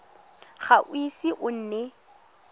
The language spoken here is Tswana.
ga o ise o nne